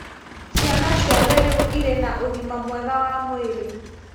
Ciana ciothe rĩu irĩ na ũgima mwega wa mwĩrĩ